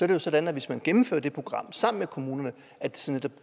det sådan at hvis man gennemfører det program sammen med kommunerne